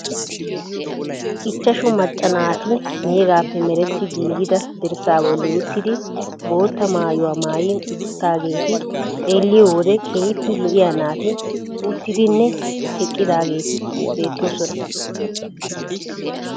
Ichchashu macca naati meegaappe meretti giigida dirssaa bolli uttidi bootta maayuwa maayi uttaageeti xeelliyo wode keehippe lo"iya naati uttidinne eqqidaageeti beettoosona.